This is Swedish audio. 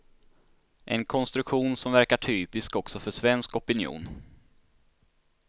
En konstruktion som verkar typisk också för svensk opinion.